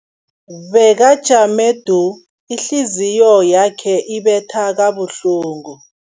Bekajame du, ihliziyo yakhe ibetha kabuhlungu.